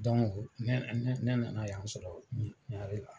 ne nana yan sɔrɔ Ɲarela .